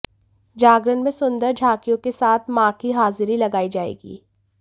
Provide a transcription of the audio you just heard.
जागरण में सुंदर झांकियों के साथ मां की हाजिरी लगाई जाएगी